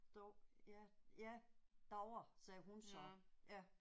Dav ja ja davre sagde hun så ja